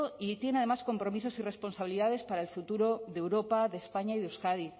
y tienen además compromisos y responsabilidades para el futuro de europa de españa y de euskadi